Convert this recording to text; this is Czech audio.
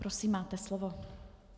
Prosím, máte slovo.